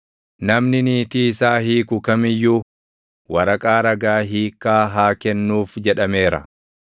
“Namni niitii isaa hiiku kam iyyuu, ‘Waraqaa ragaa hiikkaa haa kennuuf’ + 5:31 \+xt KeD 24:1\+xt* jedhameera.